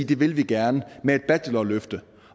det vil de gerne med et bachelorløfte